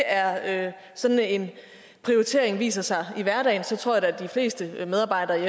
er sådan en prioritering viser sig i hverdagen tror jeg da at de fleste medarbejdere i